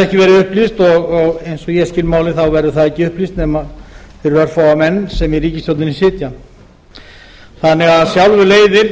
ekki verið upplýst og eins og ég skil málin verður það ekki upplýst nema fyrir örfáa menn sem sitja í ríkisstjórninni þannig að af sjálfu leiðir